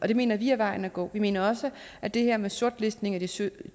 det mener vi er vejen at gå vi mener også at det her med sortlistning af de sytten